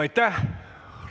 Aitäh!